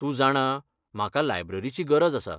तूं जाणा, म्हाका लायब्ररीची गरज आसा.